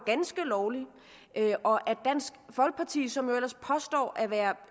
ganske lovligt og at dansk folkeparti som jo ellers påstår at være